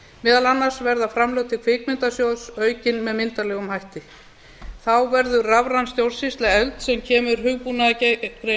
meðal annars verða framlög til kvikmyndasjóðs aukin myndarlega þá verður rafræn stjórnsýsla efld sem kemur hugbúnaðargreinum